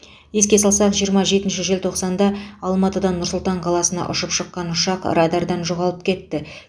еске салсақ жиырма жетінші желтоқсанда алматыдан нұр сұлтан қаласына ұшып шыққан ұшақ радардан жоғалып кетті